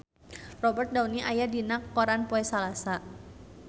Robert Downey aya dina koran poe Salasa